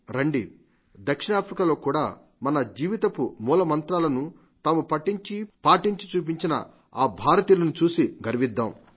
రండి దక్షిణాఫ్రికాలో కూడా మన జీవితపు మాల మంత్రాలను తాము పఠించి పాటించి చూపించిన ఈ భారతీయులను చూసి గర్విద్దాం